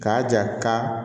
K'a jira ka